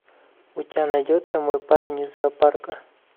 у тебя найдется мой парень из зоопарка